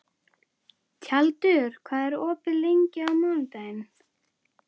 Tjaldur, hvað er opið lengi á mánudaginn?